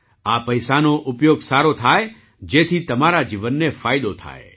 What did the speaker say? આ પૈસાનો ઉપયોગ સારો થાય જેથી તમારા જીવનને ફાયદો થાય